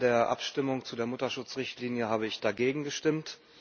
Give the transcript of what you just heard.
Bei der Abstimmung über die Mutterschutzrichtlinie habe ich dagegen gestimmt.